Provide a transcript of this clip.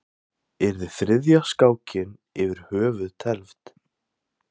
Yrði þriðja skákin yfir höfuð tefld?